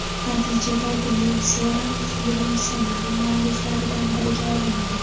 Natijada Gyulseren film ssenariy mualliflaridan biriga aylanadi.